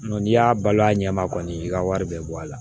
N'i y'a balo a ɲɛma kɔni i ka wari bɛɛ bɔ a la